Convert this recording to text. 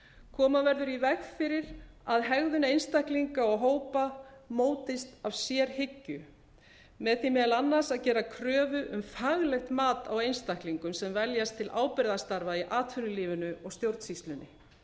koma verður í veg fyrir að hegðun einstaklinga og hópa mótist af sérhyggju með því meðal annars að gera kröfu um faglegt mat á einstaklingum sem veljast til ábyrgðarstarfa í atvinnulífinu og stjórnsýslunni